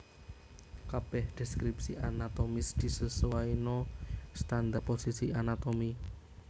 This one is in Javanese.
Kabèh deskripsi anatomis disesuaina standar posisi anatomi